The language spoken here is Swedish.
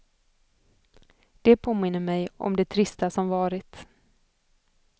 Det påminner mig om det trista som varit.